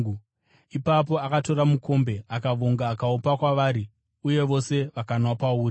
Ipapo akatora mukombe, akavonga akaupa kwavari, uye vose vakanwa pauri.